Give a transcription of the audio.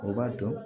O b'a dɔn